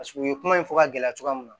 u ye kuma in fɔ ka gɛlɛya cogoya min na